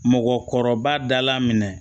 Mɔgɔkɔrɔba dala minɛ